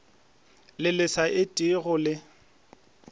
le le sa etego le